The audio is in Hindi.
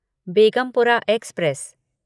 बेगमपुरा एक्सप्रेस